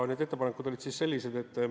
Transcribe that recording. Need ettepanekud olid sellised.